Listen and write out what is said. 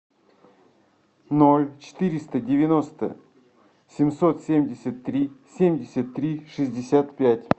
ноль четыреста девяносто семьсот семьдесят три семьдесят три шестьдесят пять